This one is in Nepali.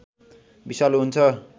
विषालु हुन्छ